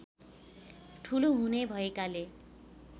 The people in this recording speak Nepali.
ठूलो हुने भएकोले